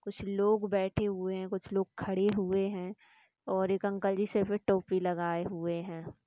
कुछ लोग बैठे हुए है वह कुछ लोग है खड़े हुए है और एक अंकल जी सर पे टोपी लगाए हुए है।